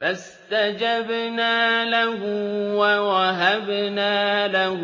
فَاسْتَجَبْنَا لَهُ وَوَهَبْنَا لَهُ